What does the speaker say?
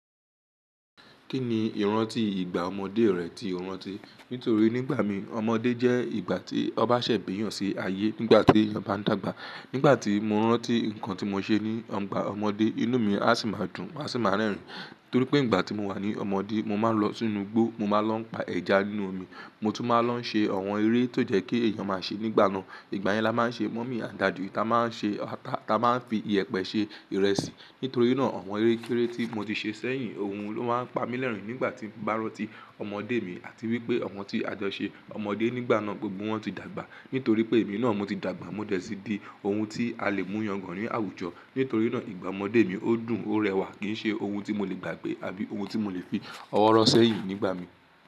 Kí ni ìrántí ìgbà ọmọdé rẹ tí o rántí? Nítorí nígbà mi ọmọdé jẹ́ ìgbà tí ọ n ba ṣè bíyàn sí ayé nígbà tí eeyan bá ń dàgbà. Nígbà tí mo rántí nǹkan tí mo ṣe ní igbà ọmọdé, inú mi á sì máa dùn, má sì máa rẹ́rìn. Nítorí pé nígbà tí mo wà ní ọmọdé, mo máa ń lọ sínú igbó, mo máa ń lọ pa ẹja nínú omi, mo tún máa ń lọ ṣe àwọn eré tó jẹ́ kí èèyàn máa ṣe nígbà náà. Ìgbà yẹn la máa ń ṣe mọ́mì àdájò, ta máa ń ṣe ata, ta máa ń fi iyẹ̀pẹ̀ ṣe ìrẹsì. Nítorí náà àwọn erékéré tí mo ti ṣe sẹ́yìn ohun ló máa ń pa mí lẹ́rìn nígbà tí ń bá rántí ọmọdé mi àti wípé àwọn tí a jọ ṣe ọmọdé nígbà náà gbogbo wọn ti dàgbà. Nítorí pé èmi náà mo ti dàgbà, mo dẹ̀ síí di ohun tí a lè mú yàn gàn rí àwùjọ. Nítorí náà ìgbà ọmọdé mi ó dùn ó rẹwà kì í ṣe ohun tí mo lè gbàgbé àbí ohun tí mo lè fi ọwọ́ rọ́ sẹ́yìn nígbà mi.